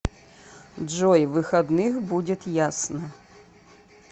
джой выходных будет ясно